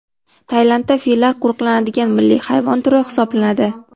Tailandda fillar qo‘riqlanadigan milliy hayvon turi hisoblanadi.